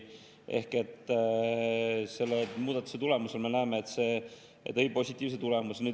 Ehk selle muudatuse tulemusena me näeme, et see tõi positiivse tulemuse.